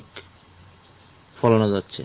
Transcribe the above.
ফলানো যাচ্ছে।